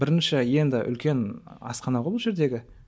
бірінші енді үлкен асхана ғой бұл жердегі